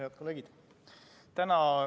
Head kolleegid!